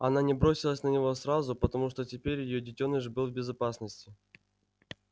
она не бросилась на него сразу потому что теперь её детёныш был в безопасности